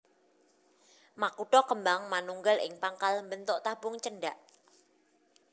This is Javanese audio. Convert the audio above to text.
Makutha kembang manunggal ing pangkal mbentuk tabung cendhak